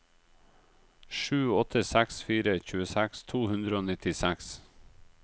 sju åtte seks fire tjueseks to hundre og nittiseks